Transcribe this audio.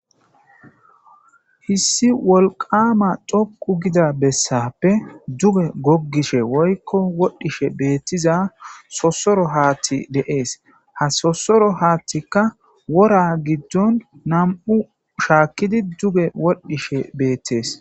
hissi wolqama dhoqu gida bessappe duge goggishe woykko wodhishe beettiza sosoro haatti deees ha sosoro haattikka wora giddon nam7u shaakkidi duge wodhdhishe beettees